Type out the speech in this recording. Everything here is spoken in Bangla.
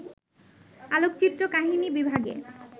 আলোকচিত্র কাহিনী বিভাগে